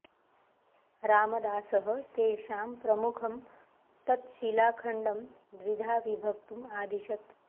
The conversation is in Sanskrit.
रामदासः तेषां प्रमुखं तत् शिलाखण्डं द्विधा विभक्तुम् आदिशत्